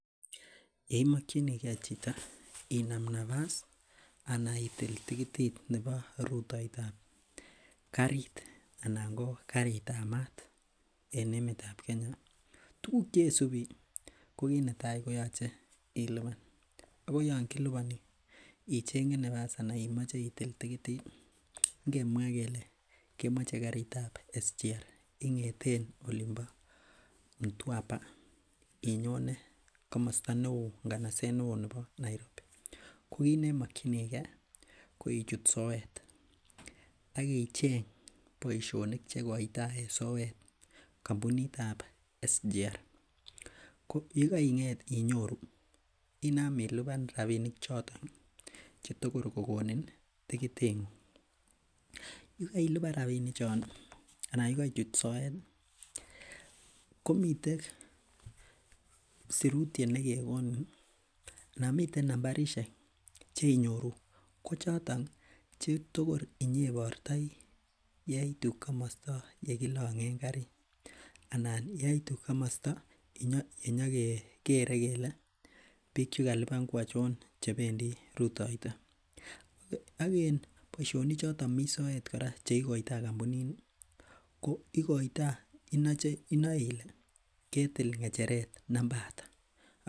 Yeimokyinigee chito inam napas ana itil tikitit nebo rutoetab karit anan ko karit ab maat en emet ab Kenya tuguk chesubi ko kit netaa koyoche ilipan ako yon kiliponi icheng'e nafas anan imoche itil tikitit ngemwaa kele kemoche karit ab standard gauge railway ing'eten olin bo Mtwapa inyone komosta neo nganaset neoo nebo Nairobi ko kit nemokyingee ko ichut soet ak icheng boisionik chekotoi en soet kampunit ab cs] standard gauge railway ko yekeing'et inyoru inam ilipan rapinik choton chetokor kokonin tikitit ng'ung yekeilipan rapinik chon anan yekeichut soet ih komiten sirutyet nekekonin anan miten nambarisiek cheinyoru ko choton chetokor inyeibortoi yeitu komosta nekilong'en karit anan yeitu komosta yenyokekere kele biik chekalipan ko achon chebendii rutoito ak en boisionik choton mii soet kora cheikoitoo kampunit ni ko ikoitoo inoe ile ketil ng'echeret namba ata